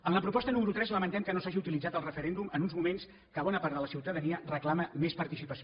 en la proposta número tres lamentem que no s’hagi utilitzat el referèndum en uns moments que bona part de la ciutadania reclama més participació